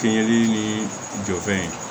Fiɲɛli ni jɔfɛn